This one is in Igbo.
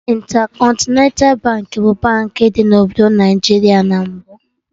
Intercontinental Baankị bụ Baankị dị na obodo Naịjiria na mbụ